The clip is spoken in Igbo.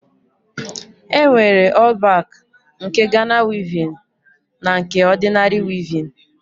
E nwere ọl bak nke Gana wivin na nke ọdịnari wivin.